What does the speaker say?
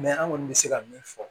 an kɔni bɛ se ka min fɔ